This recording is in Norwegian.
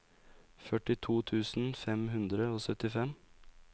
førtito tusen fem hundre og syttifem